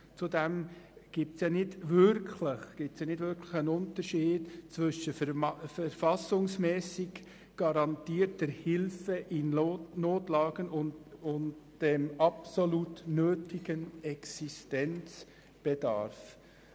Zudem gibt es keinen wirklichen Unterschied zwischen «verfassungsmässig garantierter Hilfe in Notlagen» und dem «absolut nötigen Existenzbedarf».